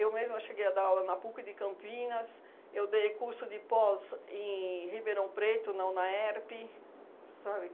mesma cheguei a dar aula na PUC de Campinas, eu dei curso de pós em Ribeirão Preto, na UNAERP, sabe?